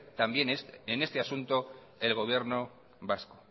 en este asunto el gobierno vasco